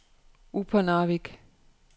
Upernavik